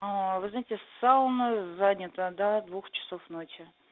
вы знаете сауна занята до двух часов ночи